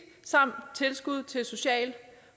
samt tilskud til social